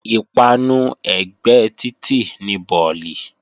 Ìpanu ẹ̀gbẹ́ títì ni bọ̀lì